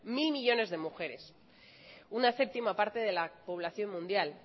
mil millónes de mujeres una séptima parte de la población mundial